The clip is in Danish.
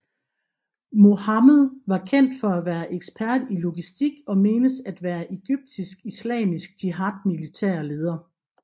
Mohammed var kendt for at være ekspert i logistik og menes at være Egyptisk Islamisk Jihad militære leder